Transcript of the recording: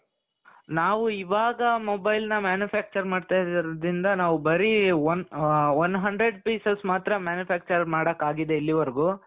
ನಾವು ಇವಾಗ mobile ನ manufacturing ಮಾಡ್ತಾ ಇರೋದ್ರಿಂದ ನಾವು ಬರೀ one hundred pieces ಮಾತ್ರ manufacture ಮಾಡಕ್ಕಾಗಿದೆ ಇಲ್ಲಿವರೆಗೂ.